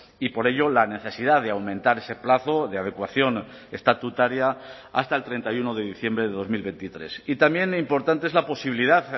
y por ello la necesidad de aumentar ese plazo de adecuación estatutaria hasta el treinta y uno de diciembre de dos mil veintitrés y también importante es la posibilidad